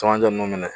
Camancɛ ninnu minɛ